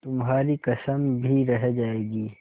तुम्हारी कसम भी रह जाएगी